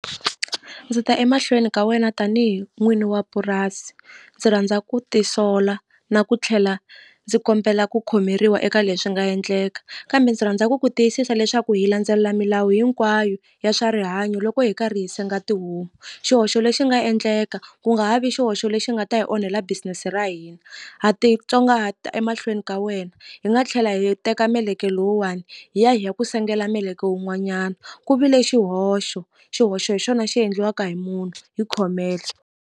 Ndzi ta emahlweni ka wena tanihi n'wini wa purasi ndzi rhandza ku tisola na ku tlhela ndzi kombela ku khomeriwa eka leswi nga endleka kambe ndzi rhandza ku ku tiyisisa leswaku hi landzelela milawu hinkwayo ya swa rihanyo loko hi karhi hi senga tihomu xihoxo lexi nga endleka ku nga ha vi xihoxo lexi nga ta hi onhela business ra hina ha titsongahata emahlweni ka wena hi nga tlhela hi teka meleke lowuwani hi ya hi ya ku sengela meleke wun'wanyana ku vile xihoxo xihoxo hi xona xi endliwaka hi munhu hi khomele.